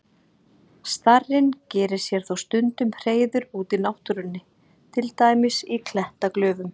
Starinn gerir sér þó stundum hreiður úti í náttúrunni, til dæmis í klettaglufum.